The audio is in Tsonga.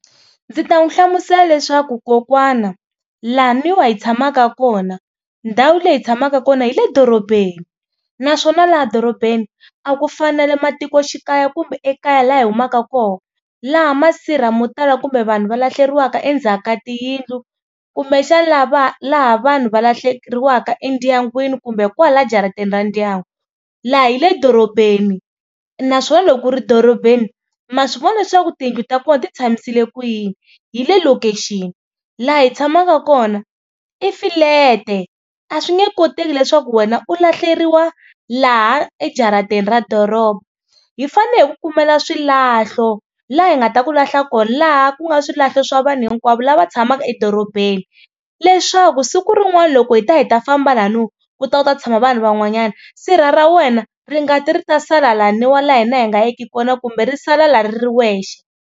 Ndzi ta n'wi hlamusela leswaku kokwana laniwa hi tshamaka kona ndhawu leyi tshamaka kona hi le dorobeni naswona laha dorobeni a ku fani na le matikoxikaya kumbe ekaya laha hi humaka kona laha masirha mo tala kumbe vanhu va lahlekeriwaka endzhaka tiyindlu kumbe xana la va laha vanhu va lahlekeriwaka endyangwini kumbe kwala jaratini ra ndyangu, laha hi le dorobeni naswona loko ku ri dorobeni ma swi vona leswaku tiyindlu ta kona ti tshamisile kuyini hi le lokixini. Laha hi tshamaka kona i fulete a swi nge koteki leswaku wena u lahleriwa laha ejaratini ra doroba hi fanele hi ku kumela swilahlo laha hi nga ta ku lahla kona laha ku nga swilahlo swa vanhu hinkwavo lava tshamaka edorobeni leswaku siku rin'wani loko hi ta hi ta famba laniwa ku ta ku ta tshama vanhu van'wanyana sirha ra ra wena ri nga ti ri ta sala laniwa la hina hi nga yeki kona kumbe ri sala la ri ri wexe.